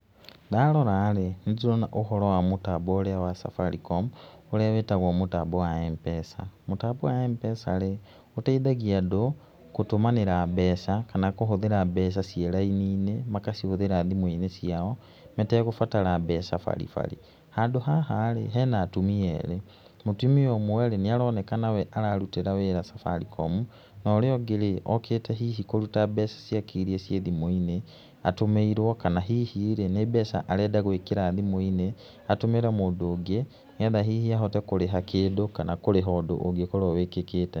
Ndaroraĩ, nĩ ndĩrona ũhoro wa mũtambo ũrĩa wa Safaricom, ũrĩa wĩtagwo mũtambo wa M-PESA. Mũtambo wa M-PESA rĩ, ũteithagia andũ gũtũmanĩra mbeca kana kũhũthĩra mbeca ciĩ raini-inĩ, magacihũthĩra thimũ-inĩ ciao, mategũbatara mbeca baribari. Handũ haha ĩ, hena atumia erĩ, mũtumia ũmweĩ, nĩ aronekana we ararutĩra wĩra Safaricom, na ũrĩa ũngĩ, okĩte kũruta mbeca iria hihi ci thimũ-inĩ, atũmĩirwo, kana hihirĩ, nĩ mbeca arenda gwĩkĩra thimũ-inĩ, atũmĩre mũndũ ũngĩ, nĩgetha hihi ahote kũrĩha kũndũ kana kũrĩha ũndũ ũngĩkorwo wĩkĩkĩte.